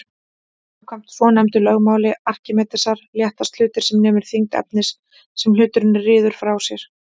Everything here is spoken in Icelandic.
Samkvæmt svonefndu lögmáli Arkímedesar léttast hlutir sem nemur þyngd efnisins sem hluturinn ryður frá sér.